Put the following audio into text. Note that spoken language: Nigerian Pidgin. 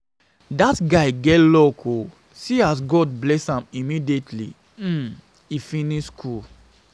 Dat guy get luck oo see as God bless am immediately um he finish school